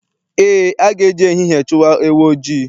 Eé, a ga-eji ehihie chụwa ewu ojii.